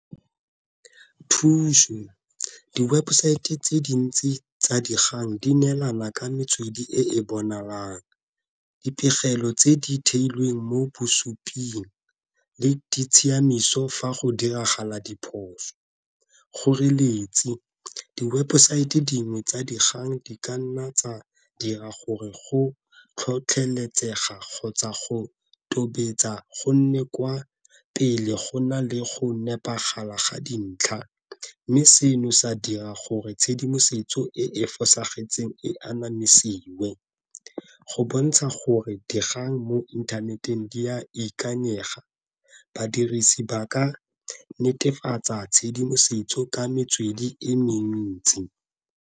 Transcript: Thuso, di-website tse dintsi tsa dikgang di neelana ka metswedi e e bonalang. Dipegelo tse di theilweng mo bosuping le di tshiamiso fa go diragala diphoso. Kgoreletsi, di-website dingwe tsa dikgang di ka nna tsa dira gore go tlhotlheletsega kgotsa go tobetsa go nne kwa pele go na le go nepagala ga dintlha, mme seno sa dira gore tshedimosetso e e fosagetseng e anamisiwe. Go bontsha gore dikgang mo inthaneteng di ya ikanyega, badirisi ba ka netefatsa tshedimosetso ka metswedi e mentsi.